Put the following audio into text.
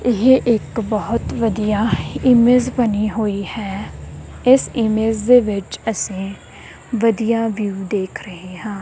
ਇਹ ਇੱਕ ਬਹੁਤ ਵਧੀਆ ਇਮੇਜ ਬਣੀ ਹੋਈ ਹੈ ਇਸ ਇਮੇਜ ਦੇ ਵਿੱਚ ਅਸੀਂ ਵਧੀਆ ਵਿਊ ਦੇਖ ਰਹੇ ਹਾਂ।